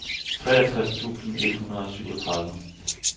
treogtres tusind et hundrede og syvogtredive